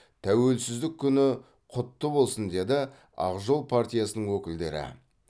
тәуелсіздік күні құтты болсын деді ақ жол партиясының өкілдері